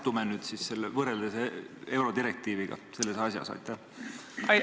Kuhu me siis võrreldes eurodirektiiviga selles asjas asetume?